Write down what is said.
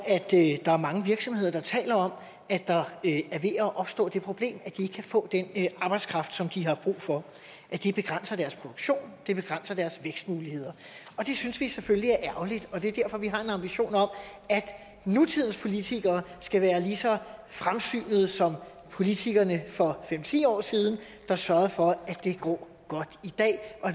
der er mange virksomheder der taler om at der er ved at opstå det problem at de ikke kan få den arbejdskraft som de har brug for at det begrænser deres produktion det begrænser deres vækstmuligheder det synes vi selvfølgelig er ærgerligt og det er derfor at vi har en ambition om at nutidens politikere skal være lige så fremsynede som politikerne for fem ti år siden der sørgede for at det går godt i dag og